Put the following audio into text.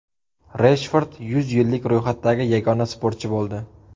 Reshford yuzlik ro‘yxatdagi yagona sportchi bo‘ldi.